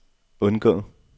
undgå